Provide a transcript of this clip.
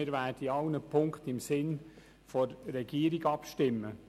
Wir werden in allen Punkten im Sinne der Regierung abstimmen.